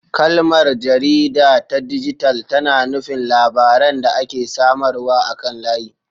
Kalmar "jarida ta dijital" tana nufin labaran da ake samarwa akan layi.